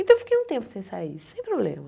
Então, eu fiquei um tempo sem sair, sem problema.